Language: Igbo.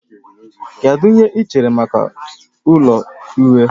Kedu ihe ị chere maka ụlọ uhie?